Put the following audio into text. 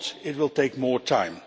If not, it will take more time.